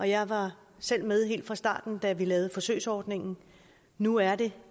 jeg var selv med helt fra starten da vi lavede forsøgsordningen nu er det